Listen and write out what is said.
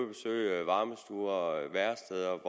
besøge varmestuer og væresteder